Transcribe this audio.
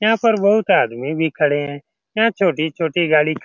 यहाँ पर बहुत आदमी भी खड़े हैं। यहाँ छोटी-छोटी गाड़ी --